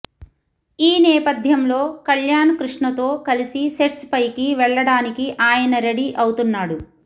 ఈ నేపథ్యంలో కల్యాణ్ కృష్ణతో కలిసి సెట్స్ పైకి వెళ్లడానికి ఆయన రెడీ అవుతున్నాడు